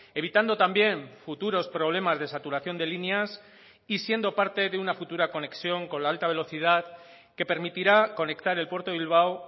evitando también futuros problemas de saturación de líneas y siendo parte de una futura conexión con la alta velocidad que permitirá conectar el puerto de bilbao